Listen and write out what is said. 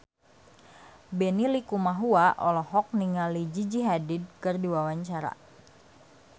Benny Likumahua olohok ningali Gigi Hadid keur diwawancara